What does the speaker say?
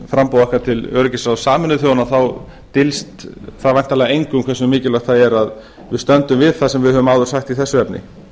framboð okkar til öryggisráðs sameinuðu þjóðanna dyljist það væntanlega engum hversu mikilvægt það er að við stöndum við það sem við höfum áður sagt í þessu